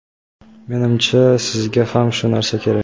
Menimcha, sizga ham shu narsa kerak.